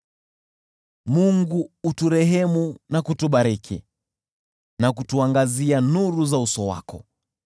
Mungu aturehemu na kutubariki, na kutuangazia nuru za uso wake,